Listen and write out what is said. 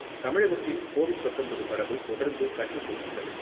தமிழகத்தில் கோவிட் பத்தொன்பது பரவல் தொடர்ந்து கட்டுக்குள் உள்ளது.